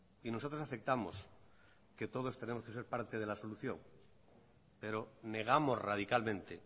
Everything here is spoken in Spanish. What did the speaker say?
y nosotros aceptamos que todos tenemos que ser parte de la solución pero negamos radicalmente